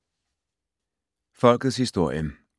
Folkets historie